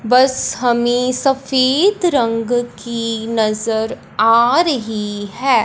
बस हमें सफेद रंग की नजर आ रही हैं।